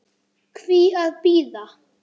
Hví að bíða?